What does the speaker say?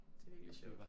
Det virkelig sjovt